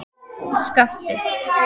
Skapti